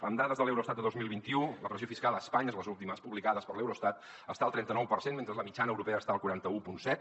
amb dades de l’eurostat de dos mil vint u la pressió fiscal a espanya les últimes publicades per l’eurostat està al trenta nou per cent mentre que la mitjana europea està al quaranta un coma set